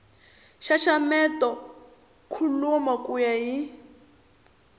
xaxameta kholomo ku ya hi